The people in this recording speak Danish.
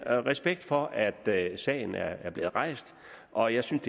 har respekt for at at sagen er er blevet rejst og jeg synes